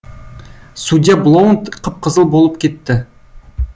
судья блоунт қып қызыл болып кетті